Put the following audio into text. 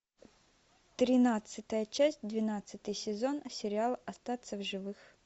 тринадцатая часть двенадцатый сезон сериал остаться в живых